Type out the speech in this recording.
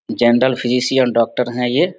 General physician doctor हैं ये।